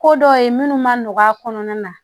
Ko dɔ ye minnu ma nɔgɔ a kɔnɔna na